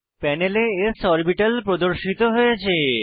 প্যানেলে s orbital প্রদর্শিত হয়েছে